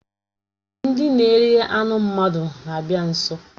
Ndị na-eri anụ mmadụ na-abịa nso